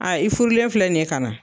Aa i furulen filɛ nin ye ka na